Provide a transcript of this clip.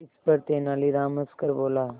इस पर तेनालीराम हंसकर बोला